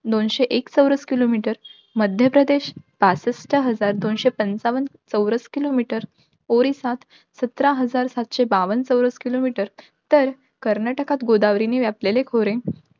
दोनशे एक चौरस kilometer मध्यप्रदेश पासष्ठ हजार, दोनशे पंचावन्न चौरस kilometer ओरिसात, सतरा हजार, सातशे बावन्न चौरस kilometer तर कर्नाटकात गोदावारीने व्यापलेले खोरे,